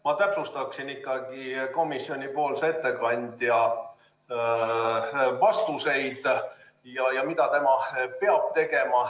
Ma täpsustaksin komisjoni ettekandja vastuseid ja seda, mida ta tegema peab.